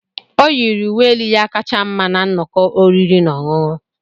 O yiri uwe elu ya kacha mma na nnọkọ oriri na ọṅụṅụ.